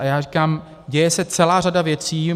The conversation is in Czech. A já říkám, děje se celá řada věcí.